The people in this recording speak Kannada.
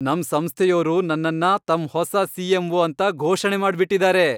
ನಮ್ ಸಂಸ್ಥೆಯೋರು ನನ್ನನ್ನ ತಮ್ ಹೊಸ ಸಿ.ಎಂ.ಒ. ಅಂತ ಘೋಷಣೆ ಮಾಡ್ಬಿಟಿದಾರೆ.